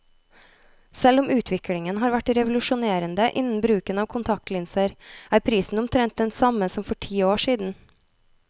Selv om utviklingen har vært revolusjonerende innen bruken av kontaktlinser, er prisen omtrent den samme som for ti år siden.